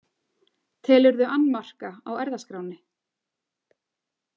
Telurðu annmarka á erfðaskránni?